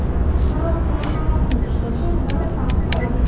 Biroq qurilmalarning ishlashi o‘zaro farq qiladi.